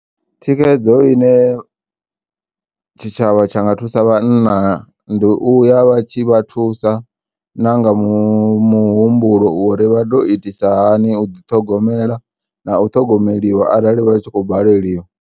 Thikedzo ine tshitshavha tshanga thusa vhanna ndi uya vhatshi vha thusa nanga muhumbulo uri vha to itisa hani uḓi ṱhogomela na u ṱhogomeliwa arali vha tshi kho u baleliwa.